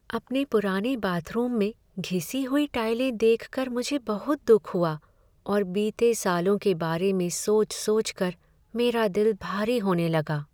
अपने पुराने बाथरूम में घिसी हुई टाइलें देख कर मुझे बहुत दुख हुआ और बीते सालों के बारे में सोच सोच कर मेरा दिल भारी होने लगा।